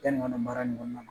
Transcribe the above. Yani kɔnɔ baara in kɔnɔna na